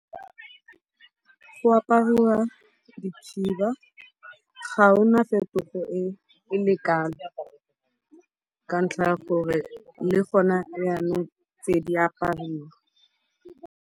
Go apariwa dikhiba. Ga ona fetogo e kalo ka ntlha ya gore le gona jaanong tse di apariwa.